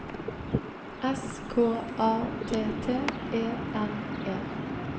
S K A T T E N E